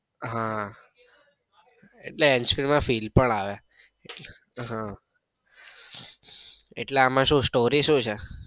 હા એટલે hands free માં feel પણ આવે. હા એટલે એમાં શું story શું છે?